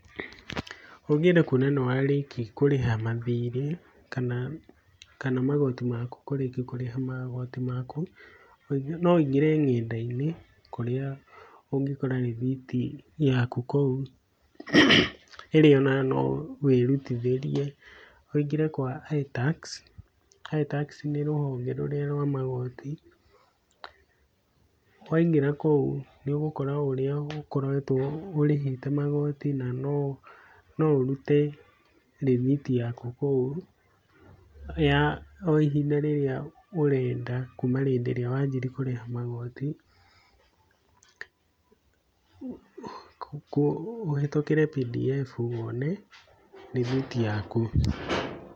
Ũngĩenda kuona nĩ warĩkia kũrĩha mathirĩ kana magoti maku kũrĩkia kũrĩha magoti maku, no ũingĩre nenda-inĩ kũrĩa ũngĩkora rithiti yaku kũu ĩrĩa ona no wĩrutithĩrie. Ũingĩre kwa itax, itax nĩ rũhonge rũrĩa rwa magoti, waingĩra kũu, nĩ ũgũkora ũrĩa ũkoretwo ũrĩhĩte magoti na no ũrute rithiti yaku kũu ya o ihinda rĩrĩa ũrenda, kuma hĩndĩ ĩrĩa wanjirie kũrĩha magoti, ũhĩtũkĩre pdf wone rithiti yaku.